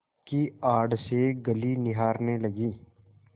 की आड़ से गली निहारने लगी